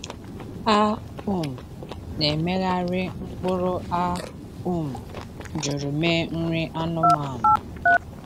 A um na-emegharị mkpụrụ a um jụrụ mee nri anụmanụ.